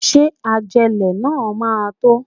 Ṣé ajélẹ̀ náà máa tó?